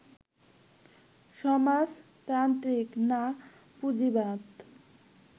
সমাজতান্ত্রিক না পুঁজিবাদ